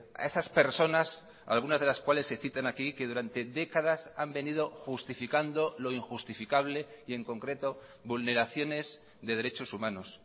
a esas personas algunas de las cuales se citan aquí que durante décadas han venido justificando lo injustificable y en concreto vulneraciones de derechos humanos